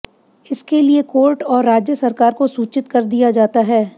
इसके लिए कोर्ट और राज्य सरकार को सूचित कर दिया जाता है